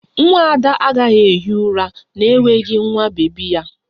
Nwa Ada agaghị ehi ụra n'enweghị nwa bebi ya